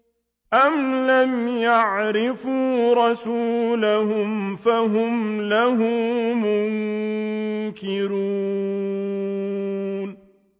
أَمْ لَمْ يَعْرِفُوا رَسُولَهُمْ فَهُمْ لَهُ مُنكِرُونَ